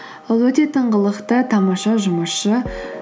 ол өте тыңғылықты тамаша жұмысшы